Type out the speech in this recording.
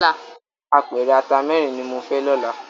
Ápèrè àtá mèrin ni mó fè lòlá